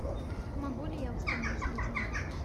могу ли я установить будильник